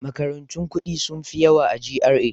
Makarantun kuɗi sun fi yawa a GRA.